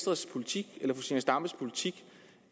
resultere i